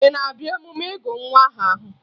Ị na-abịa emume ịgụ nwa aha ahụ?